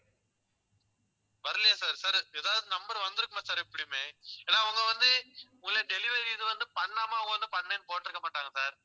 வரலையா sir sir ஏதாவது number வந்திருக்குமே sir எப்படியுமே ஏன்னா அவங்க வந்து உங்க delivery இது வந்து பண்ணாம அவங்க வந்து பண்ணுன்னு போட்டிருக்க மாட்டாங்க sir